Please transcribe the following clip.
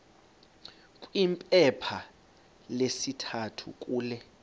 kwiphepha lesithathu kule